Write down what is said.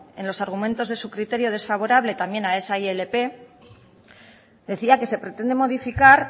en sus argumentos de criterio desfavorable también a esa ilp decía que se pretende modificar